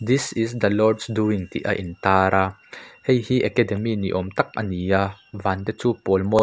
this is the lord doing tih a in tar a hei hi academy ni awm tak ani a van te chu a pawl mawi--